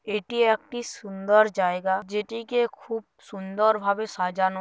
এটি একটি সুন্দর জায়গা যেটিকে খুব সুন্দর ভাবে সাজানো--